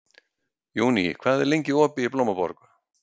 Júní, hvað er lengi opið í Blómaborg?